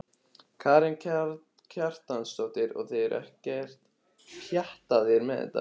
Karen Kjartansdóttir: Og þið eruð ekkert pjattaðar með þetta?